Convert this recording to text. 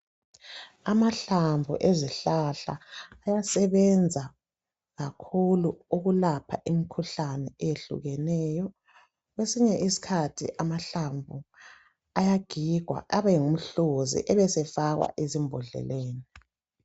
Amahlamvu ezihlahla ayasebenza kakhulu ukupha imikhuhlane eyehlukeneyo . Kwesinye isikhathi amahlamvu ayagigwa abengumhluzi ebesefakwa ezimbodleleni.